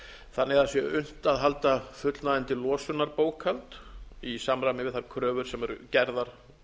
þannig að það sé unnt að halda fullnægjandi losunarbókhald í samræmi við þær kröfur sem eru gerðar